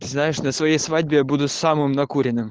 знаешь на своей свадьбе я буду самым накуренным